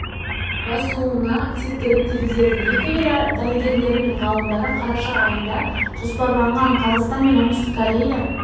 басуына септігін тигізеді екі ел дәрігерлері мен ғалымдары қараша айына жоспарланған қазақстан мен оңтүстік корея